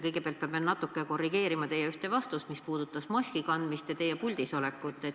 Kõigepealt ma pean natukene korrigeerima teie ühte vastust, mis puudutas maski kandmist ja teie puldis olekut.